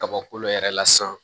Kaba kolo yɛrɛ la san